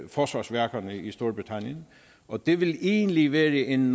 forsvarsværkerne i storbritannien og det vil egentlig være en